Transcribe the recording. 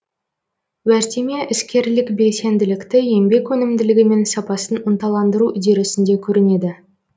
уәждеме іскерлік белсенділікті еңбек өнімділігі мен сапасын ынталандыру үдерісінде көрінеді